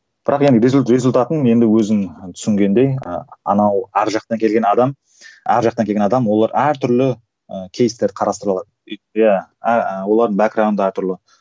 бірақ енді результатын енді өзің түсінгендей і анау әр жақтан келген адам әр жақтан келген адам олар әртүрлі ііі кейстер қарастыра алады олардың да әртүрлі